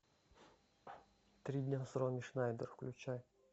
три дня с роми шнайдер включай